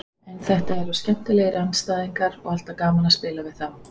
En þeir eru skemmtilegir andstæðingar og alltaf gaman að spila við þá.